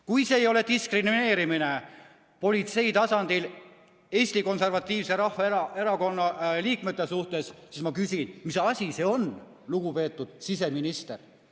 Kui see ei ole diskrimineerimine politsei tasandil Eesti Konservatiivse Rahvaerakonna liikmete suhtes, siis ma küsin, mis asi see on, lugupeetud siseminister.